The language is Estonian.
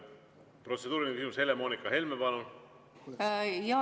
Protseduuriline küsimus, Helle-Moonika Helme, palun!